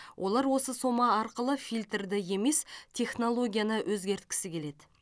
олар осы сома арқылы фильтрді емес технологияны өзгерткісі келеді